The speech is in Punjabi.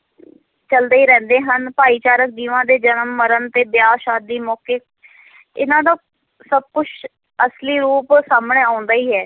ਚੱਲਦੇ ਹੀ ਰਹਿੰਦੇ ਹਨ, ਭਾਈਚਾਰਕ ਜੀਵਾਂ ਦੇ ਜਨਮ-ਮਰਨ ਤੇ ਵਿਆਹ-ਸ਼ਾਦੀ ਮੌਕੇ ਇਨ੍ਹਾਂ ਦਾ ਸਭ ਕੁਛ ਅਸਲੀ ਰੂਪ ਸਾਹਮਣੇ ਆਉਂਦਾ ਹੀ ਹੈ।